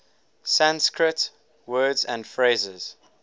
sanskrit words and phrases